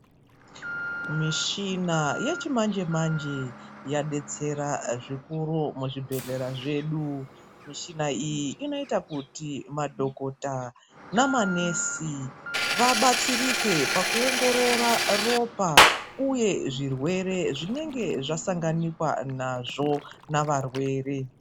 Mishina yechimanje manje yadetsera zvikuru muzvibhedhlera zvedu, mishina iyi inoita kuti madhokota namanesi vabatsirike pakuongorora ropa uye zvirwere zvinenge zvasanganikwa nazvo navarwere.